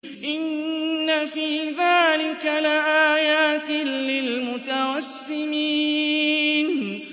إِنَّ فِي ذَٰلِكَ لَآيَاتٍ لِّلْمُتَوَسِّمِينَ